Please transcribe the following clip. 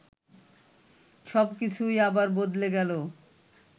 সব কিছুই আবার বদলে গেল